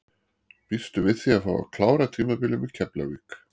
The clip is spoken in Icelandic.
Býstu við því að fá að klára tímabilið með Keflavík?